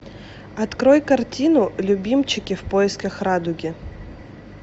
открой картину любимчики в поисках радуги